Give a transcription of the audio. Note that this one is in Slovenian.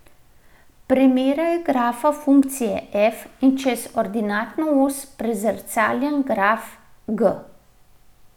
Primerjaj grafa funkcije f in čez ordinatno os prezrcaljen graf g.